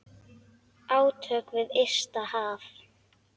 Átök við ysta haf.